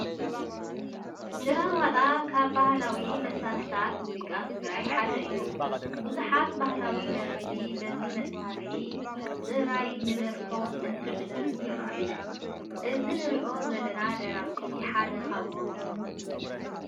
ጭራዋጣ ካብ ባህላዊ መሳርሕታት ሙዚቃ ትግራይ ሓደ እዩ፡፡ ብዙሓት ባህላዊ ደረፍቲ በዚ መሳርሒ ጥራይ ንደርፎም እትዕጅቡ ይርአዩ፡፡ እዚ እንሪኦ ዘለና ደራፊ ሓደ ካብኦም እዩ፡፡